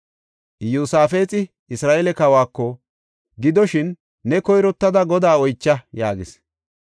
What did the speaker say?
Iyosaafexi Isra7eele kawako, “Gidoshin, ne koyrottada Godaa oycha” yaagis.